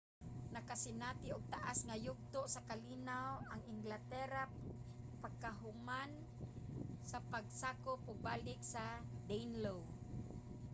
nakasinati og taas nga yugto sa kalinaw ang englatera pagkahuman sa pagkasakop og balik sa danelaw